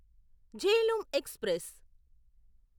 Jhelum express